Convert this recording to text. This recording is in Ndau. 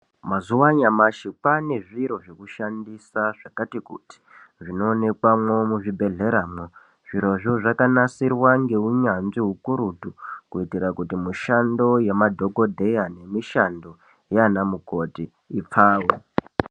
Mazuwa anyamashi kwane zviro zvekushandisa zvakati kuti zvinoonekwemwo muzvibhedhleramwo. Zvirozvo zvakanasirwa ngeunyanzvi hukurutu kuitira kuti mishando yemadhokodheya nemishando yaanamukoti ipfawe.